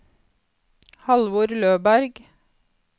Halvor Løberg